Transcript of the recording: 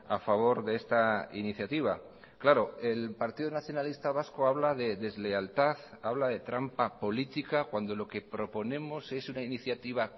a favor de esta iniciativa claro el partido nacionalista vasco habla de deslealtad habla de trampa política cuando lo que proponemos es una iniciativa